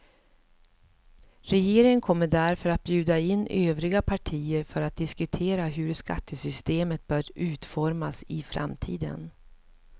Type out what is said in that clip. Regeringen kommer därför att bjuda in övriga partier för att diskutera hur skattesystemet bör utformas i framtiden.